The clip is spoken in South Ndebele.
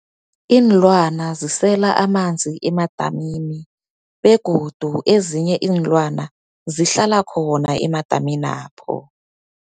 Iinlwana zisela amanzi emadamini, begodu ezinye iinlwana zihlala khona emadaminapho.